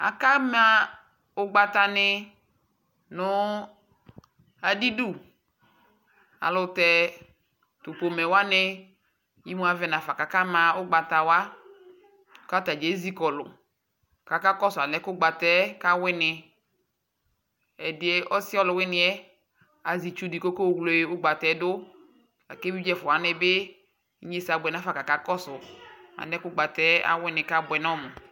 Akama ʋgbatanɩ nʋ adɩdu Alʋ tɛ tʋ pomɛ wanɩ imu avɛ nafa kʋ akama ʋgbata wa kʋ ata dza ezi kɔlʋ kʋ akakɔsʋ alɛna yɛ ʋgbata yɛ kawɩnɩ Ɛdɩ ɔsɩ ɔlʋwɩnɩ yɛ azɛ itsu dɩ kʋ ɔkewle ʋgbata yɛ dʋ la kʋ evidze ɛfʋa wanɩ bɩ inyesɛ abʋɛ nafa kʋ akakɔsʋ alɛna yɛ ʋgbata yɛ awɩnɩ kʋ abʋɛ nʋ ɔmʋ